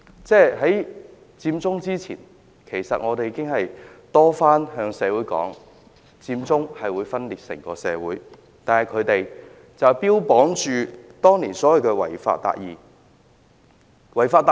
在佔中之前，其實我們已多番向社會指出，佔中會分裂整個社會，但他們當年卻標榜所謂的違法達義。